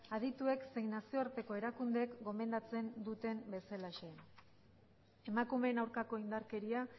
adituek zein nazioarteko erakundeek gomendatzen duten bezalaxe emakumeen aurkako indarkeria